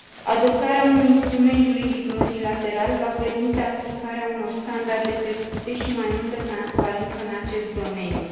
Adoptarea unui instrument juridic multilateral va permite aplicarea unor standarde crescute și mai multă transparență în acest domeniu.